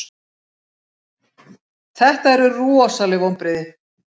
Þetta eru rosaleg vonbrigði.